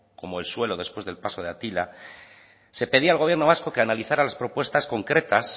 como el suelo después del paso de atila se pedía al gobierno vasco que analizara las propuestas concretas